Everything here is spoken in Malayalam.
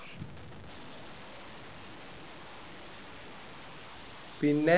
പിന്നെ